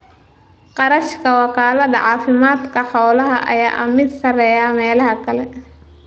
Kharashaadka wakaalada caafimaadka xoolaha ayaa ah mid sareeya meelaha kale.